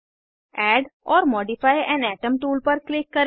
add or modify an atom tool पर click करें